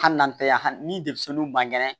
Hali n'an tɛ yan ni denmisɛnninw man kɛnɛ